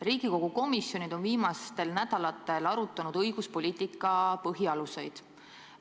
Riigikogu komisjonid on viimastel nädalatel arutanud õiguspoliitika põhialuseid.